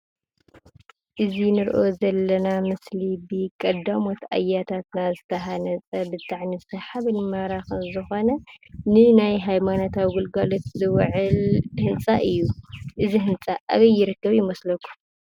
እዚ ንሪኦ ዘለና ምስሊ ብቀዳሞት አያታትና ዝተሃነፀ ብጣዕሚ ሰሓብን ማራኽን ዝኾነ ንናይ ሃይማኖታዊ ግልጋሎት ዝውዕል ህንፃ እዩ እዚ። ህንፃ አበይ ይርከብ ይመስለኩም ?